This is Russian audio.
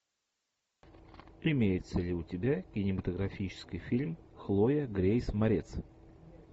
имеется ли у тебя кинематографический фильм хлоя грейс морец